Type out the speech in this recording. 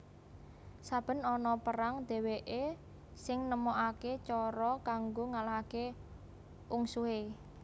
Saben ana perang dheweke sing nemokake cara kanggo ngalahake ungsuhe